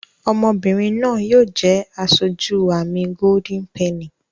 Ọmọbìrìn náa yóò jé aṣojú amí Golden penny.